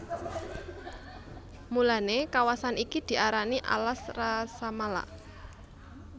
Mulané kawasan iki diarani alas Rasamala